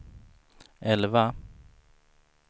elva